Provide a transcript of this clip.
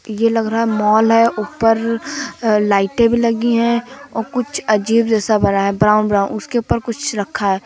ये लग रहा है मॉल है उपर लाइटें भी लगीं है और कुछ अजीब जैसा बना ब्राउन ब्राउन उसके उपर कुछ रखा है।